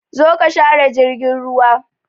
Zo ka share jirgin ruwa!